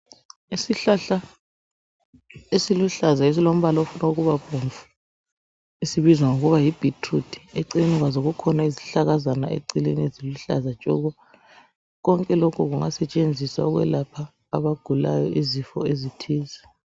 Isihlahla esiluhlaza esilombala ofunukubabomvu, esibizwa ngokuba yibhithiruthi, eceleni kwazo kukhona izihlakazana eceleni eziluhlaza tshoko. Konke lokhu kungasetshenziswa kwabagulayo izifo ezithize.